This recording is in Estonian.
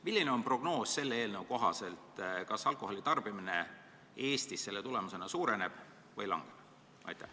Milline on prognoos selle eelnõu kohaselt: kas alkoholi tarbimine Eestis selle tulemusena suureneb või väheneb?